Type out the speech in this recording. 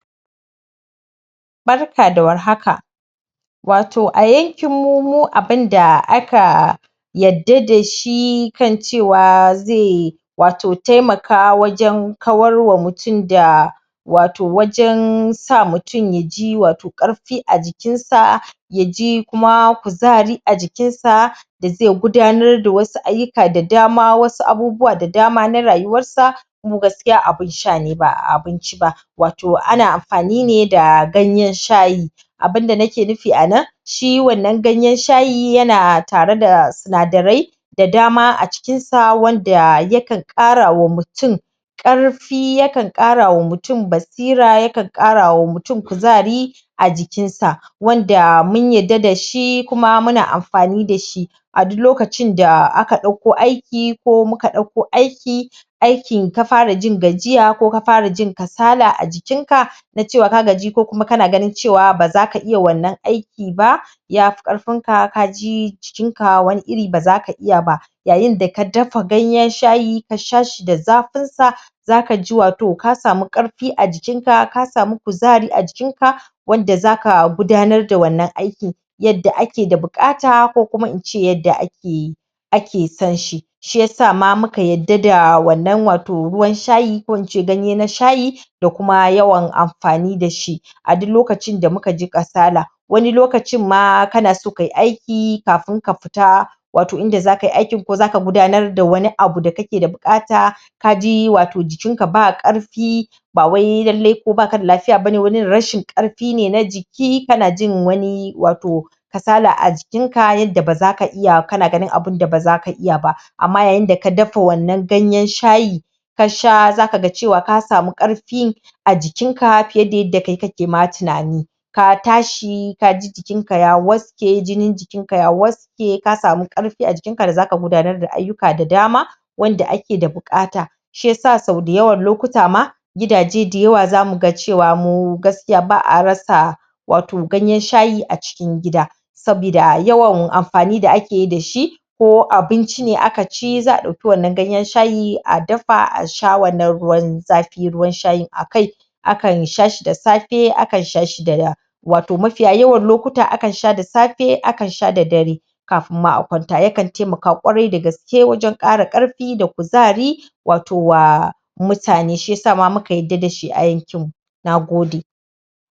Barka da warhaka wato a yankinmu mu abinda aka yadda da shi kan cewa zai wato taimaka wajen kawar wa mutum da wato wajen sa mutum ya ji wato ƙarfi a jikinsa ya ji kuma kuzari a jikinsa da zai gudanar da wasu ayyuka da dama wasu abubuwa da dama na rayuwarsa mu gaskiya a abin sha ne ba a abinci ba. wato ana amfani ne da ganyen shayi. Abin da nike nufi a nan shi wannan ganyen shayi yana tare da sinadarai da dama a cikinsa wanda yakan ƙara wa mutum ƙarfi yakan ƙara wa mutum basira yakan ƙara wa mutum kuzari a jikin sa wanda mun yadda shi muna amfani da shi a duk lokacin da aka ɗakko aiki ko muka ɗakko aiki aikin ka farajin gajiya ko ka fara jin kasala ajikinka na cewa ko kana ganin cewa ba za ka iya wannan aiki ba ya fi ƙarfinka ka ji jikinka wani iri ba za ka iya ba yayin da ka dafa ganyen shayi ka sha shi da zafinsa za ka ji wato ka samu ƙarfi a jikinka ka samu kuzari a jikinka wanda za ka gudanar da wannan aiki. Yadda ake da buƙata ko kuma in ce yadda ake yi aka san shi. shi ya sa ma muka yadda da wannan ruwan shayi ko in ce ganye na shayi da kuma yawan amfani da shi a duk lokacin da muka ji kasala. Wani lokacin ma kana so kai aiki kafin ka fita wato in za kai aikin ko za ka gudanar wani abu wanda kake buƙata ka ji wato jikinka ba ƙarfi Ba wai lalle kai ba ka da lafiya ba ne rashin ƙarfin fi ne na jiki kana jin wani wato kasala a jikinka yadda ba za ka iya kana ganin abin da ba za ka iya ba. Amma yayin da ka dafa wannan ganyen shayin ka sha za ka ga cewa ka samu ƙarfi a jikinka fiye da yadda kai kake ma tunani ka tashi ka ji jikinka ya waske, jinin jikinka ya was ke ka samu ƙarfi a jikinka da za ka gudanar da ayyuka da dama wanda ake da buƙata shi ya sa sau da yawan lokuta ma gidaje da yawa za mu ga cewa mu gaskiya ba a rasa wato ganyen shayi a cikin gida sabida yawan amfani da ake yi da shi ko abinci ne aka ci za a ɗauki wannan ganyen shayi a dafa a sha wannan ruwan zafi ruwan shayin a kai akan sha shi da safe akan sha shi da ra wato mafiya yawan lokuta akan sha da safe akan sha da dare kafin ma akwanta yakan taimaka ƙwarai da gaske wajen ƙara ƙarfi da kuzari wato wa mutane shi ya sa muka yadda da shi a yankinmu, na gode